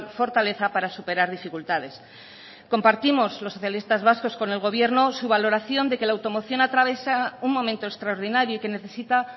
fortaleza para superar dificultades compartimos los socialistas vascos con el gobierno su valoración de que la automoción atraviesa un momento extraordinario y que necesita